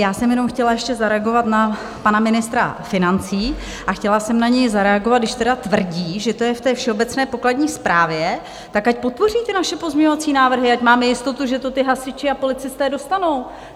Já jsem jenom chtěla ještě zareagovat na pana ministra financí a chtěla jsem na něj zareagovat, když teda tvrdí, že to je v té všeobecné pokladní správě, tak ať podpoří ty naše pozměňovací návrhy, ať máme jistotu, že to ti hasiči a policisté dostanou.